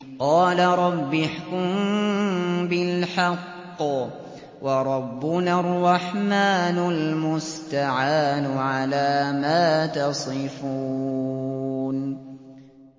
قَالَ رَبِّ احْكُم بِالْحَقِّ ۗ وَرَبُّنَا الرَّحْمَٰنُ الْمُسْتَعَانُ عَلَىٰ مَا تَصِفُونَ